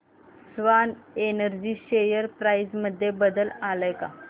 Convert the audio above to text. Swan Energy share price मध्ये बदल आलाय का